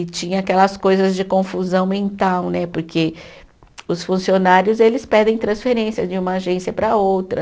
E tinha aquelas coisas de confusão mental né, porque os funcionários eles pedem transferência de uma agência para outra.